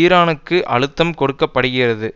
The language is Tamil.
ஈரானுக்கு அழுத்தம் கொடுக்க படுகிறது